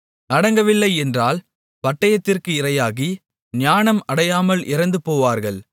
அடங்கவில்லை என்றால் பட்டயத்திற்கு இரையாகி ஞானம் அடையாமல் இறந்துபோவார்கள்